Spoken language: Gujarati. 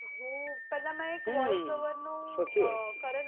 હું પેહલા હમ્મ સાચી વાત છે